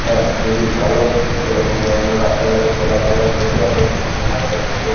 আহ খুবই ভালো এই রকম ধরনের রাস্তা ঘাটে চলাফেরা করতে আমরা কেনাকাটা করতে পা--